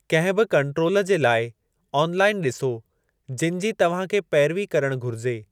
कंहिं बि कंट्रोल जे लाइ ऑनलाइन ॾिसो जिनि जी तव्हां खे पेरवी करणु घुरिजे।